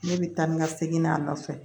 Ne bɛ taa ni ka segin a nɔfɛ